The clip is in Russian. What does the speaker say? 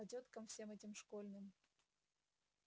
а тёткам всем этим школьным